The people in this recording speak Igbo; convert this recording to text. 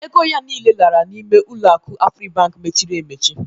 Ego ya niile lara n'ime ụlọaku Afribank mechiri emechi.